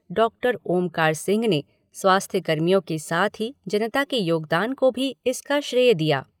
Doctor Omkar Singh ने स्वास्थ्य कर्मियों के साथ ही जनता के योगदान को भी इसका श्रेय दिया।